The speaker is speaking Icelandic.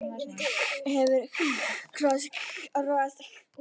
Hver hefur sinn kross að rogast með.